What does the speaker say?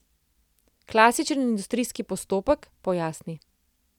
Klasičen industrijski postopek, pojasni.